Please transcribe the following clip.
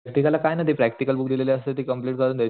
practical ला काही नाही ती प्रॅक्टिकल बुक दिलेली असते ती कम्प्लेंट करायची